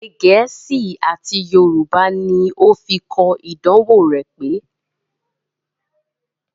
Èdè gẹ̀ẹ́sì àti Yorùbá ní ó fi kọ ìdánwò rán pẹ́